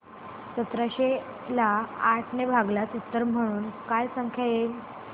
सतराशे ला आठ ने भागल्यास उत्तर म्हणून काय संख्या येईल